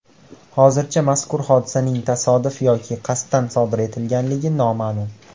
Hozircha mazkur hodisaning tasodif yoki qasddan sodir etilganligi noma’lum.